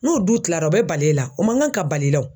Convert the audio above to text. N'o du tilara o bɛ bali e la? O man kan ka bal'i la o.